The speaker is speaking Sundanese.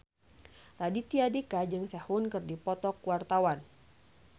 Raditya Dika jeung Sehun keur dipoto ku wartawan